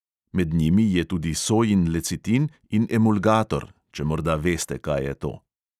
Med njimi je tudi sojin lecitin in emulgator, če morda veste, kaj je to.